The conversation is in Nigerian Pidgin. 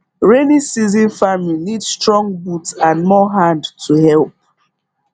rainy season farming need strong boot and more hand to help